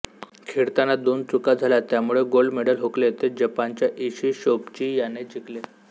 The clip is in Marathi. खेळताना दोन चुका झाल्या त्यामुळे गोल्ड मेडल हुकले ते जपानच्या ईशी शोबची याने जिंकले